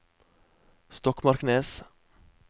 Stokmarknes